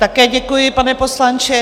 Také děkuji, pane poslanče.